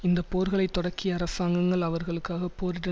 இந்த போர்களை தொடக்கிய அரசாங்கங்கள் அவர்களுக்காக போரிட